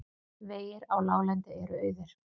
Vegir á láglendi eru auðir